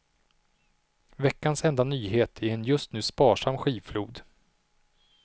Veckans enda nyhet i en just nu sparsam skivflod.